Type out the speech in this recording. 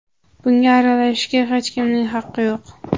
Bunga aralashishga hech kimning haqqi yo‘q.